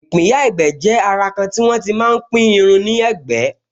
ìpínyà ẹ̀gbẹ́ jẹ́ àrà kan tí wọ́n tí máa pín irun ní ẹ̀gbẹ́